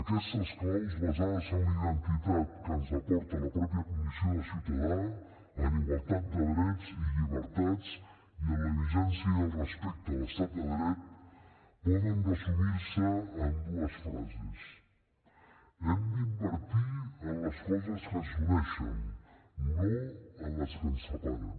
aquestes claus basades en la identitat que ens aporta la mateixa condició de ciutadà en igualtat de drets i llibertats i en la vigència i el respecte a l’estat de dret poden resumir se en dues frases hem d’invertir en les coses que ens uneixen no en les que ens separen